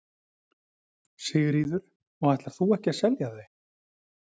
Sigríður: Og þú ætlar ekki að selja þau?